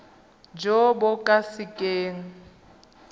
jo bo ka se keng